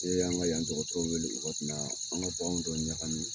Ne y'an ka yan dɔkɔtɔrɔw weele wagati min na dɔ ɲagami.